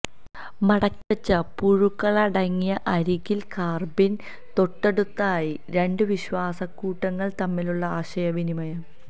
മടക്കിവെച്ച പുഴുക്കലടങ്ങിയ അരികിൽ കാർബിൻ തൊട്ടടുത്തായി രണ്ട് വിശ്വാസക്കൂട്ടുകൾ തമ്മിലുള്ള ആശയവിനിമയം